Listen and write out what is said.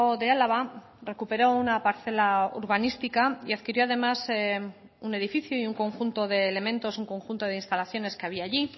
de álava recuperó una parcela urbanística y adquirió además un edificio y un conjunto de elementos un conjunto de instalaciones que había allí